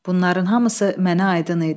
Bunların hamısı mənə aydın idi.